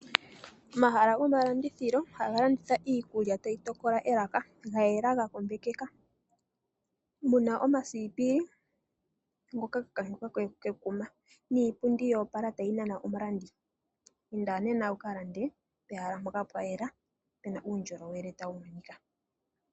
O.ahala go malandithilo, haga landitha iikulya tayi tokola elaka, ga yela ga kombekeka, muna omasipili ngoka ga kankekwa ke Kuma, niipundi ya opala tayi nana omulandi. Inda nena wu kalande pehala mpoka pwa yela, puna uundjolowele ta wu monikila.